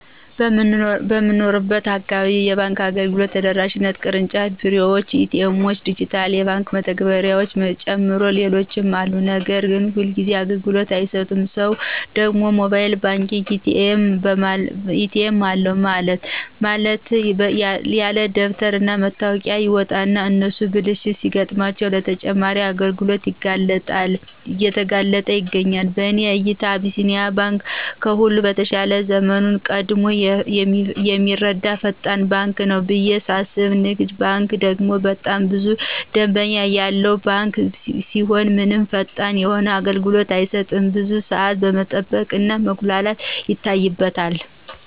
በምኖርበት አካባቢ የባንክ አገልግሎት ተደራሽነታቸው የቅርጫፍ ቢሮዎች፣ ኤ.ቲ. ኤምዎች፣ ዲጅታል የባንክ መተግበሪያዎችን ጨምሮ ሌሎችም አሉ ነገር ግን ሁልጊዚ አግልግሎት አይሰጡም ሰው ደግሞ ሞባይል ባንክ አለ፣ ኤ.ቲ.ኤም አለ በማለት ያለደበተር እና መታወቂያ ይወጣና እነሱ ብልሽት ሲገጥማቸው ለተጨማሪ እንግልት እየተጋለጥ ይገኛል። በእኔ እይታ አቢሲኒያ ባንክ ከሁሉም የተሻለ ዘመኑን ቀድሞ የሚረዳ ፈጣን ባንክ ነው ብየ ሳስብ ንግድ ባንክ ደግሞ በጣም ብዙ ደምበኛ ያለው ባንክ ሲሆን ምንም ፈጣን የሆነ አገልግሎት አይሰጥም ብዙ ሳዓት መጠበቅ እና መጉላላት ይታይበታል።